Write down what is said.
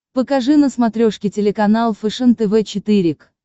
покажи на смотрешке телеканал фэшен тв четыре к